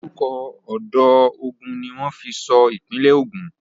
Orúkọ odò Ogun ní wọ́n fi sọ ìpínlẹ̀ Ogun.